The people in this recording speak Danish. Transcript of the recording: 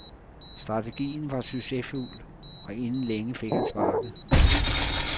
Strategien var succesfuld, og inden længe fik han sparket.